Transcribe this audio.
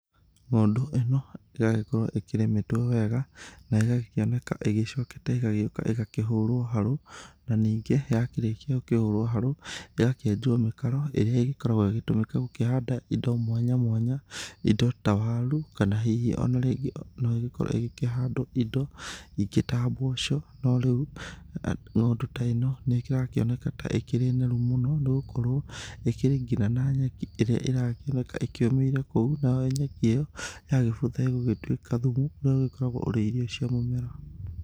Ng'ũndũ ĩno ĩragĩkorwo ĩkĩrĩmĩtwo wega na ĩgakĩoneka ĩcokete ĩgoka ĩkahũrwo harũ. Na ningĩ yakirĩkia gũkĩhũrwo harũ, ĩgakĩenjwo mĩtaro ĩrĩa ĩgĩkoragwo ĩgĩtũmĩka gũkĩhanda indo mwanya mwanya. Indo ta waru kana hihi ona rĩngĩ no ĩgĩkorwo ĩkĩhandwo indo ingĩ ta mboco, no rĩu ng'ũndu ta ĩno nĩ ĩrakioneka ta ĩrĩ noru mũno. Nĩ gũkorwo ĩkirĩ ngina na nyeki ĩrĩa ĩrakĩoneka ĩkĩũmĩire kũu nayo nyeki ĩyo yagĩbutha ĩgũgĩtuĩka thumu ũrĩa ũgĩkoragwo ũrĩ irio cia mũmera.